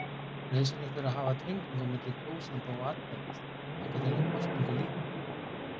Nauðsynlegt er að hafa tengingu á milli kjósanda og atkvæðis þangað til að kosningu lýkur.